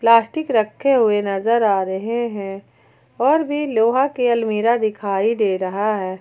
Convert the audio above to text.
Plastic रखे हुए नजर आ रहे हैं और भी लोहा के अलमीरा दिखाई दे रहा है।